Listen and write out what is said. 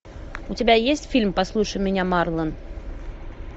у тебя есть фильм послушай меня марлон